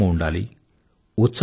సంతోషమూ ఉండాలి